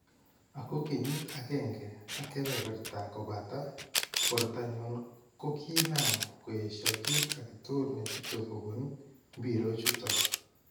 "Ako kenyiit agenge ak kebeberta kobataa , borto nyun kokinaam koyeshaa kiit agetukul nechute kobuun mbirook choton .